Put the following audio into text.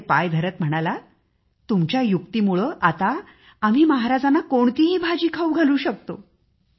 त्याचे पाय धरत आचारी म्हणाला तुमच्या युक्तीमुळे आता आम्ही महाराजांना कोणतीही भाजी खाऊ घालू शकतो